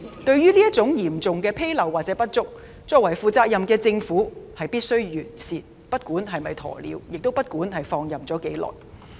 對於這種嚴重紕漏或不足，作為負責任的政府必須完善，不管是否"鴕鳥"，亦不管已放任多久。